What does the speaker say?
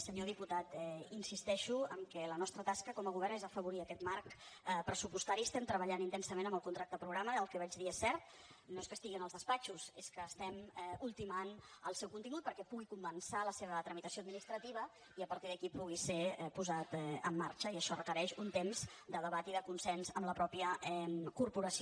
senyor diputat insisteixo en que la nostra tasca com a govern és afavorir aquest marc pressupostari estem treballant intensament en el contracte programa el que vaig dir és cert no és que estigui en els despatxos és que estem ultimant el seu contingut perquè pugui començar la seva tramitació administrativa i a partir d’aquí pugui ser posat en marxa i això requereix un temps de debat i de consens amb la mateixa corporació